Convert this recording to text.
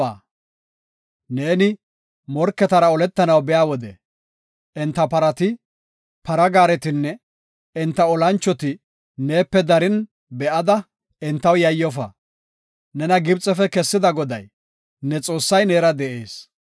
Neeni morketara oletanaw biya wode, enta parati, para gaaretinne enta olanchoti neepe darin be7ada, entaw yayyofa; nena Gibxefe kessida Goday, ne Xoossay neera de7ees.